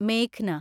മേഘ്ന